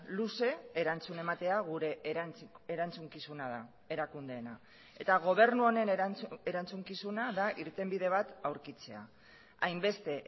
luze erantzuna ematea gure erantzukizuna da erakundeena eta gobernu honen erantzukizuna da irtenbide bat aurkitzea hainbeste